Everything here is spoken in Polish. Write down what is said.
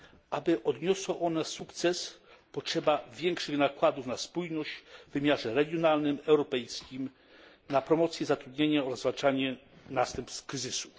Aby odniosła ona sukces potrzeba większych nakładów na spójność w wymiarze regionalnym, europejskim, na promocję zatrudnienia oraz zwalczanie następstw kryzysu.